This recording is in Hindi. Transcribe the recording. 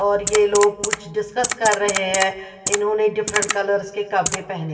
और ये लोग कुछ डिस्कस कर रहे हैं इन्होंने डिफरेंट कलर कपड़े पहने--